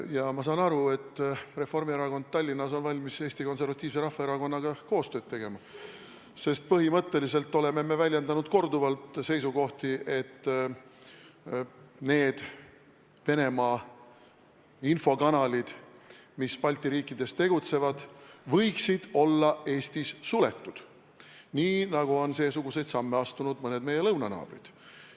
Ja ma saan aru, et Reformierakond on Tallinnas valmis Eesti Konservatiivse Rahvaerakonnaga koostööd tegema, sest põhimõtteliselt oleme me väljendanud korduvalt seisukohti, et need Venemaa infokanalid, mis Balti riikides tegutsevad, võiksid olla Eestis suletud, nii nagu on seesuguseid samme astunud mõned meie lõunanaabrid.